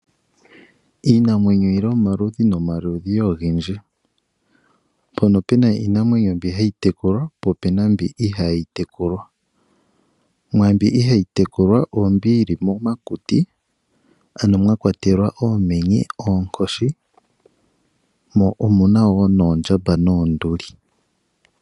Iinamwenyo oyili omaludhi nomaludhi gendji mpono pena iinamwenye mbi hayi tekulwa po opena mbi ihayi tekulwa, mbi ihayi tekulwa oyo mbi yo momakuti ano mwakwatelwa oomenye, oonkoshi, oondjamba noshowo oonduli.